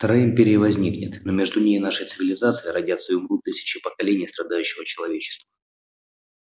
вторая империя возникнет но между ней и нашей цивилизацией родятся и умрут тысячи поколений страдающего человечества